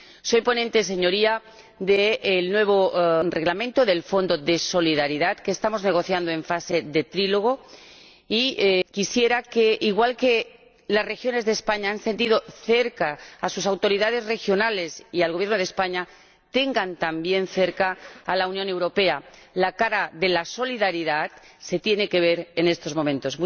Soy ponente, Señoría, del nuevo Reglamento del Fondo de Solidaridad que estamos negociando en fase de diálogo a tres bandas y quisiera que, al igual que las regiones de España han tenido cerca a sus autoridades regionales y al Gobierno de España, tengan también cerca a la Unión Europea. La cara de la solidaridad se tiene que ver en estos momentos.